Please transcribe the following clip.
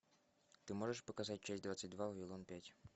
ты можешь показать часть двадцать два вавилон пять